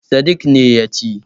Sadik ne ya ci.